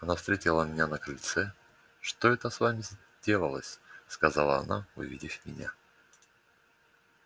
она встретила меня на крыльце что это с вами сделалось сказала она увидев меня